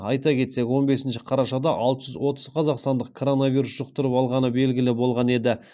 айта кетсек он бесінші қарашада алты жүз отыз қазақстандықтық коронавирус жұқтырып алғаны белгілі болған еді